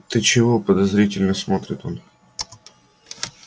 ты чего подозрительно смотрит он